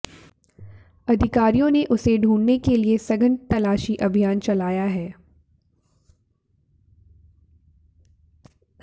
अधिकारियों ने उसे ढूंढने के लिए सघन तलाशी अभियान चलाया है